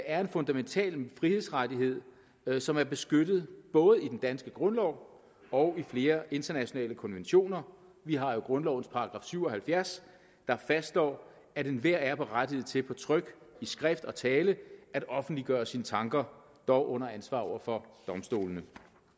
er en fundamental frihedsrettighed som er beskyttet både i den danske grundlov og i flere internationale konventioner vi har jo grundlovens § syv og halvfjerds der fastslår at enhver er berettiget til på tryk i skrift og tale at offentliggøre sine tanker dog under ansvar for domstolene